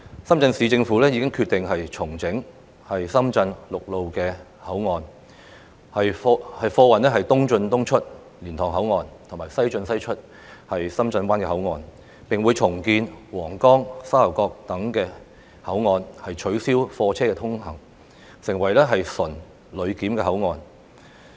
深圳市政府已決定重整深圳陸路口岸，貨運"東進東出、西進西出"，並會重建皇崗及沙頭角等口岸，取消貨車通行，成為純旅檢口岸。